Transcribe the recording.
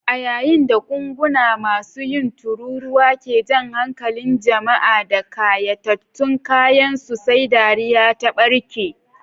A yayin da gungun masu yin tururuwa ke jan hankalin jama'a da kayatattun kayansu, sai dariya ta barke.